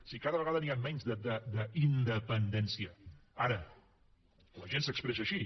si cada vegada n’hi ha menys d’independència ara la gent s’expressa així